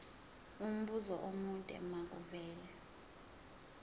umbuzo omude makuvele